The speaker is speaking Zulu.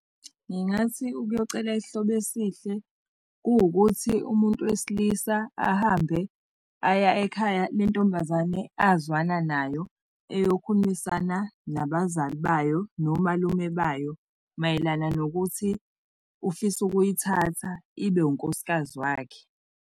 Ngingathi ukuyocela isihlobo esihle kuwukuthi umuntu wesilisa ahambe aya ekhaya le ntombazane azwana nayo, eyokhulimisana nabazali bayo, nomalume bayo, mayelana nokuthi ufisa ukuyithatha ibe unkosikazi wakhe.